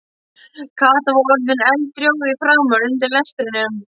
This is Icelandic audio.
Kata var orðin eldrjóð í framan undir lestrinum.